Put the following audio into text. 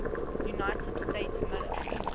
united states military